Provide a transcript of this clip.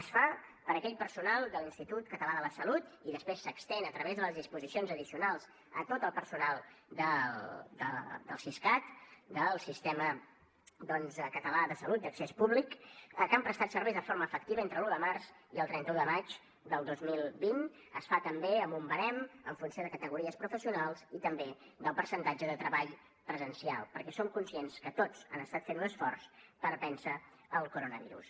es fa per a aquell personal de l’institut català de la salut i després s’estén a través de les disposicions addicionals a tot el personal del siscat del sistema català de salut d’accés públic que han prestat serveis de forma efectiva entre l’un de març i el trenta un de maig del dos mil vint es fa també amb un barem en funció de categories professionals i també del percentatge de treball presencial perquè som conscients que tots han estat fent un esforç per vèncer el coronavirus